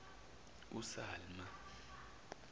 usamla